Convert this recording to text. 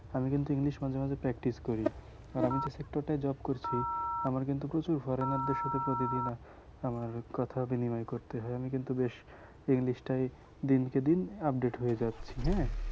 আমি কিন্তু english মাঝে মাঝে practice করি আর আমি যে sector টায় job করছি আমার কিন্তু প্রচুর foreigner সাথে প্রতিদিন আমার কথা বিনিময় করতে হয় আমি কিন্তু বেশ english টায় দিনকে দিন update হয়ে যাচ্ছি হ্যাঁ